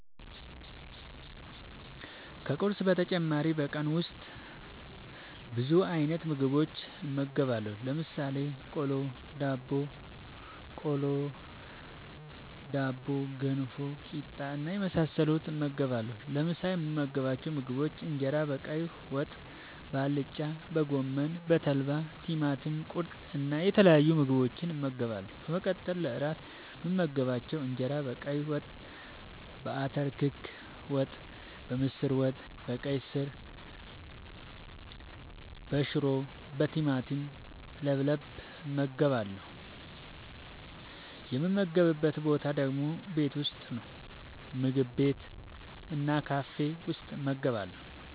ከቁርስ በተጨማሪ በቀን ውስጥ ብዙ አይነት ምግቦችን እመገባለሁ። ለምሳሌ፦ ቆሎ፣ ዳቦቆሎ፣ ዳቦ፣ ገንፎ፣ ቂጣ እና የመሳሰሉትን እመገባለሁ። ለምሳ የምመገባቸው ምግቦች እንጀራ በቀይ ወጥ፣ በአልጫ፣ በጎመን፣ በተልባ፣ ቲማቲም ቁርጥ እና የተለያዩ ምግቦችን እመገባለሁ። በመቀጠል ለእራት የምመገባቸው እንጀራ በቀይ ወጥ፣ በአተር ክክ ወጥ፣ በምስር ወጥ፣ በቀይ ስር፣ በሽሮ፣ በቲማቲም ለብለብ እመገባለሁ። የምመገብበት ቦታ ደግሞ ቤት ውስጥ፣ ምግብ ቤት እና ካፌ ውስጥ እመገባለሁ።